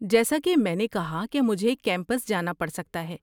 جیسا کہ میں نے کہا کہ مجھے کیمپس جانا پڑ سکتا ہے۔